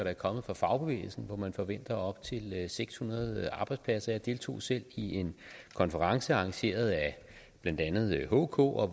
er kommet fra fagbevægelsen hvor man forventer tab af op til seks hundrede arbejdspladser jeg deltog selv i en konference arrangeret af blandt andet hk og